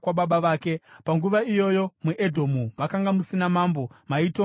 Panguva iyoyo muEdhomu makanga musina mambo; maitongwa nejinda.